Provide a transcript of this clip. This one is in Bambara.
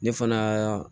Ne fana